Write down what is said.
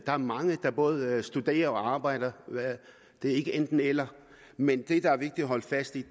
der er mange der både studerer og arbejder det er ikke enten eller men det der er vigtigt at holde fast i